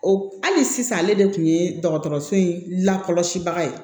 O hali sisan ale de kun ye dɔgɔtɔrɔso in lakɔlɔsibaga ye